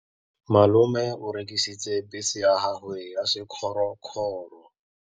Malome o rekisitse bese ya gagwe ya sekgorokgoro.